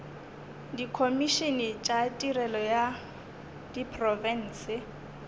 dikhomišene tša tirelo ya diprofense